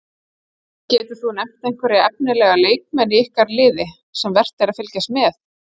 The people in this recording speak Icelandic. Geturðu nefnt einhverja efnilega leikmenn í ykkar liði sem vert er að fylgjast með?